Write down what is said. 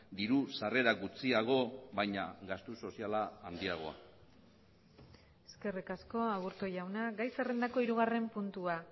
diru sarrera gutxiago baina gastu soziala handiagoa eskerrik asko aburto jauna gai zerrendako hirugarren puntua